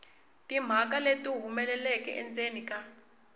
timhaka leti humelelaka endzeni ka